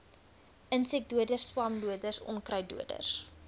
insekdoders swamdoders onkruiddoders